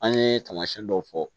An ye taamasiyɛn dɔw fɔ